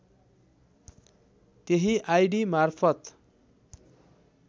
त्यही आइडी मार्फत